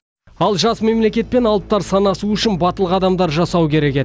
ал жас мемлекетпен алыптар санасуы үшін батыл қадамдар жасау керек еді